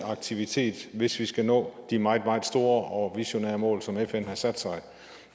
aktivitet hvis vi skal nå de meget meget store og visionære mål som fn har sat sig